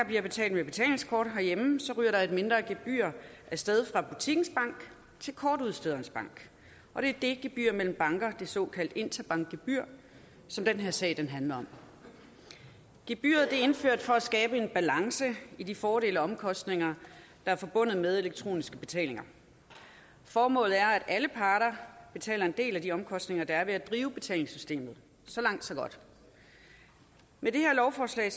bliver betalt med betalingskort herhjemme ryger der et mindre gebyr af sted fra butikkens bank til kortudstederens bank og det er det gebyr mellem banker det såkaldt interbankgebyr som den her sag handler om gebyret er indført for at skabe en balance i de fordele og omkostninger der er forbundet med elektroniske betalinger formålet er at alle parter betaler en del af de omkostninger der er ved at drive betalingssystemet så langt så godt med det her lovforslag